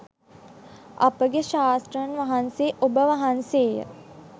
අපගේ ශාස්තෘන් වහන්සේ ඔබ වහන්සේය.